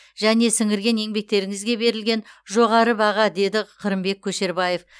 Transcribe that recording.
және сіңірген еңбектеріңізге берілген жоғары баға деді қырымбек көшербаев